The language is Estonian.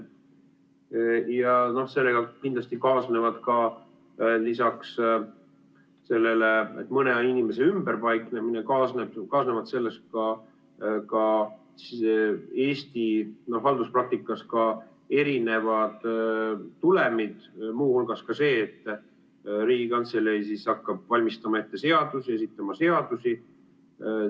Sellega kindlasti kaasnevad, lisaks mõne inimese ümberpaiknemisele, Eesti halduspraktikas erinevad tulemid, muu hulgas ka see, et Riigikantselei hakkab valmistama ette seadusi, esitama seadusi.